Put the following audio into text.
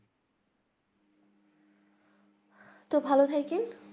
তো ভালো থাকেন